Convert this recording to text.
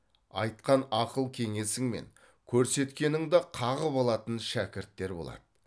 айтқан ақыл кеңесің мен көрсеткеніңді қағып алатын шәкірттер болады